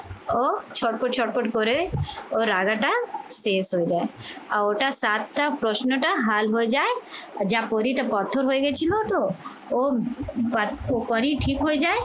ও ছটপট ছটপট করে ও রাজাটা শেষ হয়ে যায় আর ওটা সাতটা প্রশ্নটা হাল হয়ে যায় আর যা পরীটা পাথর হয়ে গেছিল তো ও তখনই ঠিক হয়ে যায়